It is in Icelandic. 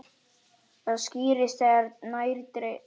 Það skýrist þegar nær dregur.